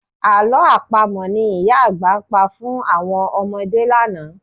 Àlọ́ Àpamọ̀ ni ìyá àgbà pa fún àwọn ọmọdé lánàá